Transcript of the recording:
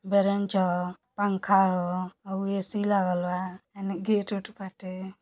बेरेंच ह पंखा ह हउ ए.सी. लागल बा एने गेट ओट बाटे।